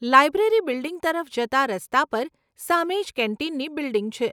Library building તરફ જતાં રસ્તા પર સામે જ કેન્ટીનની બિલ્ડીંગ છે.